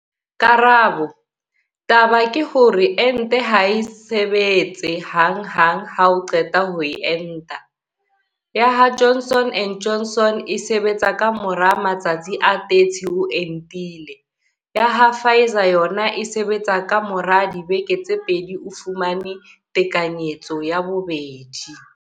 Karabo- Taba ke hore ente ha e sebetse hang hang ha o qeta ho enta, ya ha Johnson and Johnson e sebetsa ka mora matsatsi a 30 o entile, ha ya ha Pfizer yona e sebetsa ka mora dibeke tse pedi o fumane tekanyetso ya bobedi.